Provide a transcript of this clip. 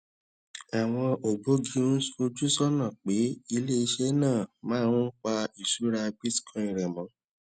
àwọn ògbógi ń fojú sónà pé ilé iṣé náà máa ń pa ìṣúra bitcoin rè mó